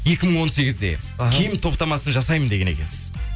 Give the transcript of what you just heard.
екі мың он сегізде іхі киім топтамасын жасаймын деген екенсіз